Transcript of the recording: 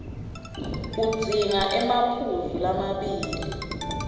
udzinga emaphuzu lamabili